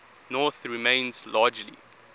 north remains largely